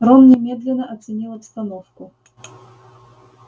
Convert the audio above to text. рон немедленно оценил обстановку